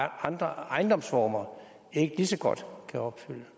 andre ejendomsformer ikke lige så godt kan opfylde